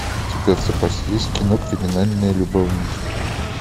у тебя в запасе есть кино криминальные любовники